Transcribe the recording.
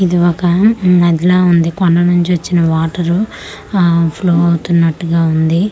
ఇది ఒక నదిలా ఉంది కొండ నుంచి వచ్చిన వాటరు అహ్ ఫ్లో అవుతున్నట్టుగా ఉంది.